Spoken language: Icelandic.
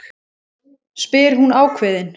spyr hún ákveðin.